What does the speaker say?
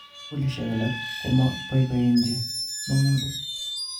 Sugulishek alak komapoipoenchi mong'utik